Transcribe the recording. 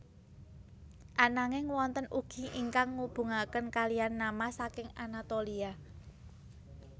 Ananging wonten ugi ingkang ngubungaken kalihan nama saking Anatolia